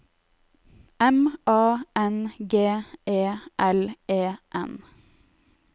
M A N G E L E N